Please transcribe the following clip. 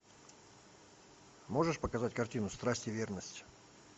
можешь показать картину страсть и верность